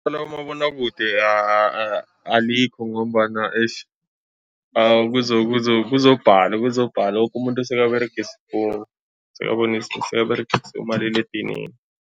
Abomabonwakude alikho ngombana eish kuzokubhala kuzokubhala, woke umuntu sekaberegisa ifowunu, sekaberegisa umaliledinini.